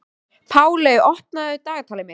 Páley, opnaðu dagatalið mitt.